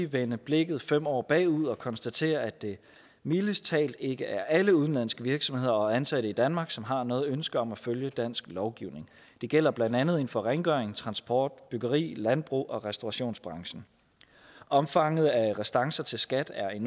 vende blikket fem år bagud og konstatere at det mildest talt ikke er alle udenlandske virksomheder og ansatte i danmark som har noget ønske om at følge dansk lovgivning det gælder blandt andet inden for rengøring transport byggeri landbrug og restaurationsbranchen omfanget af restancer til skat er